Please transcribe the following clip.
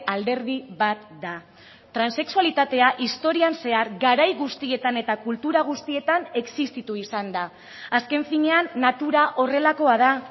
alderdi bat da transexualitatea historian zehar garai guztietan eta kultura guztietan existitu izan da azken finean natura horrelakoa da